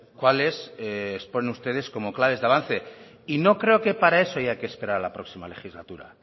cuáles exponen ustedes como claves de avance y no creo que para eso haya que esperar a la próxima legislatura